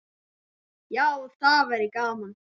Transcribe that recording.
Já, það væri gaman.